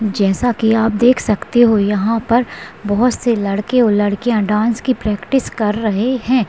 जैसा की आप देख सकते हो यहाँ पर बहुत से लड़के और लड़किया डांस की प्रक्टिस कर रहे है।